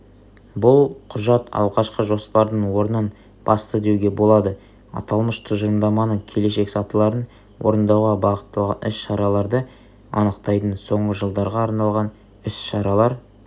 бұл құжат алғашқы жоспардың орнын басты деуге болады аталмыш тұжырымдаманың келешек сатыларын орындауға бағытталған іс-шараларды анықтайтын соңғы жылдарға арналған іс-шаралар